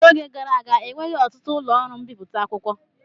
N'oge gara aga enweghị ọtụtụ ụlọ ọrụ mbipụta akwụkwọ.